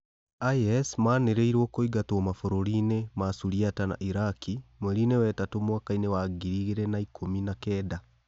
IS manĩrĩirwo kũingatwo mabũrũri-inĩma Suriata na Iraki mwerinĩ wa ĩtatũ mwakainĩ wa ngiri igĩrĩ na ikũmi na kenda.